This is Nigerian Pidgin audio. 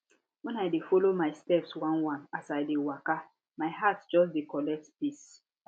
wen i dey follow my steps oneone as i dey waka my heart just de collect peace